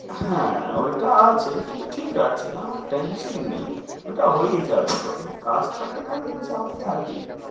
হ্যাঁ ঐটা আছে কিন্তু ঠিক আছে, আমার tension নেই। ঐটা হয়েই যাবে যখন কাজ থাকে তাহলে তো চাপ থাকেই।